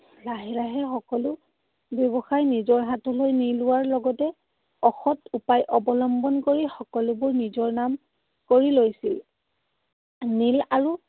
লাহে লাহে সকলো ব্যৱসায় নিজৰ হাতলৈ নি লোৱাৰ লগতে অসৎ উপায় অৱলম্বন কৰি সকলোবোৰ নিজৰ নাম কৰি লৈছিল। নীল আৰু